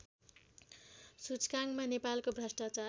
सूचकाङ्कमा नेपालको भ्रष्टाचार